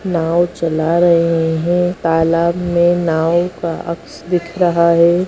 नॉव चला रहे है तालाब में नॉव का अक्स दिख रहा है।